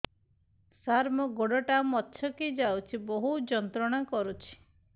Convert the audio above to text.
ସାର ମୋର ଗୋଡ ଟା ମଛକି ଯାଇଛି ବହୁତ ଯନ୍ତ୍ରଣା କରୁଛି